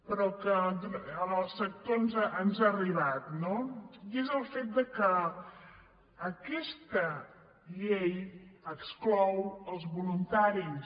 però que en el sector ens ha arribat no i és el fet que aquesta llei exclou els voluntaris